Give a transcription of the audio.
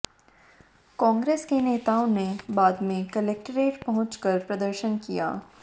कांग्रेस के नेताओं ने बाद में कलेक्टेट पहुंचकर प्रदर्शन किया